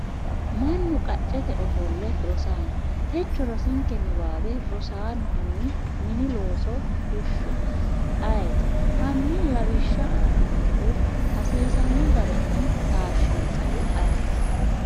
manu qaccete ofoole Rosaano, techo rosinke niwaawe Rosaano hanni mini looso fushshe? ayeeti? Hanni lawishsha aannonkehu hasiisanno garinni taashshinsahu ayeeti?